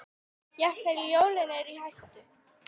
Jafnvel jólin eru í hættu.